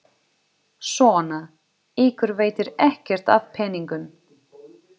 Svona, ykkur veitir ekkert af peningunum.